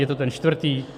Je to ten čtvrtý?